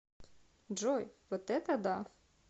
джой вот это да